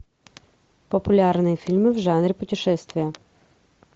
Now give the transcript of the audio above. популярные фильмы в жанре путешествия